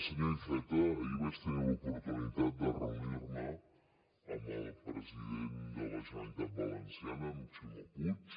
senyor iceta ahir vaig tenir l’oportunitat de reunir me amb el president de la generalitat valenciana amb ximo puig